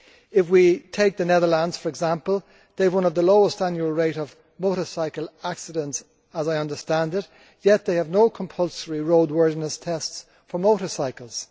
If we take the Netherlands, for example, there they have one of the lowest annual rates of motorcycle accidents, as I understand it, yet they have no compulsory roadworthiness tests for motorcycles.